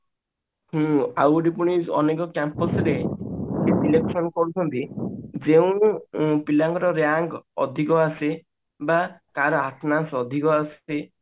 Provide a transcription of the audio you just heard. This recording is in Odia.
ଏ ଆଉ ଗୋଟେ ପୁଣି ଆମେ ଯୋଉ Campus ରେ election କରୁଛନ୍ତି ଯେଉଁ ପିଲାଙ୍କର rank ଅଧିକ ଆସେ ବା ତାର attendance ଅଧିକ ଆସେ